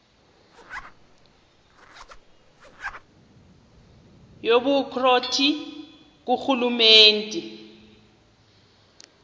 yobukro ti ngurhulumente